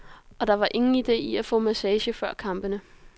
Og der er ingen ide i at få massage før kampene.